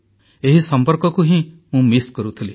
ଏହି ସମ୍ପର୍କକୁ ହିଁ ମୁଁ ମିସ୍ କରୁଥିଲି